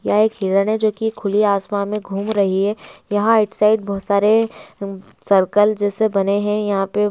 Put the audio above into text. यह एक हिरण है जोकी खुली आसमान में घूम रही है यहा एक साईड बोहोत सारे उः सर्कल जैसे बने है यहां पे।